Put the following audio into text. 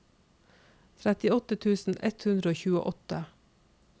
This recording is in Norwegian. trettiåtte tusen ett hundre og tjueåtte